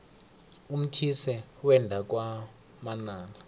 umthise wenda kwamanala